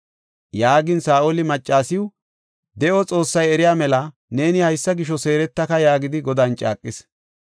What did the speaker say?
Yaagin Saa7oli maccasiw, “De7o Xoossay eriya mela, neeni haysa gisho seeretaka” yaagidi Godan caaqis.